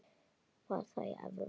Var það í Evrópu?